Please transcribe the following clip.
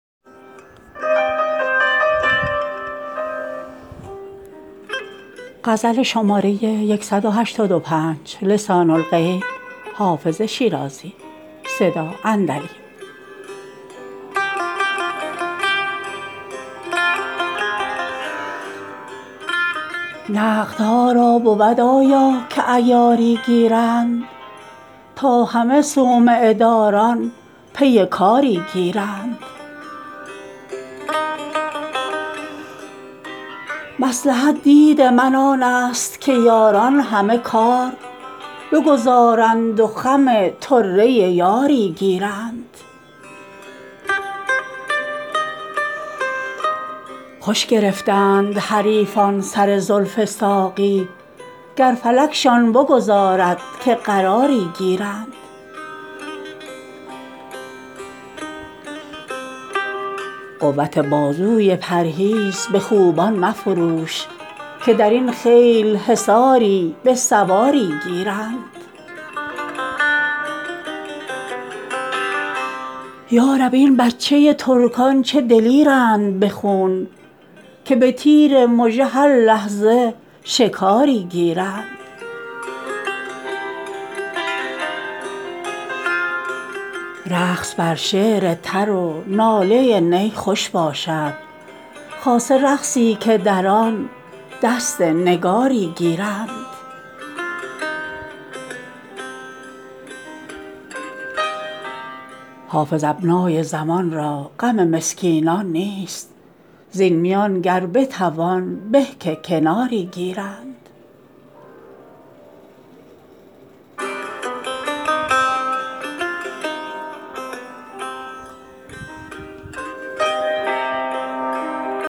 نقدها را بود آیا که عیاری گیرند تا همه صومعه داران پی کاری گیرند مصلحت دید من آن است که یاران همه کار بگذارند و خم طره یاری گیرند خوش گرفتند حریفان سر زلف ساقی گر فلکشان بگذارد که قراری گیرند قوت بازوی پرهیز به خوبان مفروش که در این خیل حصاری به سواری گیرند یا رب این بچه ترکان چه دلیرند به خون که به تیر مژه هر لحظه شکاری گیرند رقص بر شعر تر و ناله نی خوش باشد خاصه رقصی که در آن دست نگاری گیرند حافظ ابنای زمان را غم مسکینان نیست زین میان گر بتوان به که کناری گیرند